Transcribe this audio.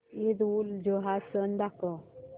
ईदउलजुहा सण दाखव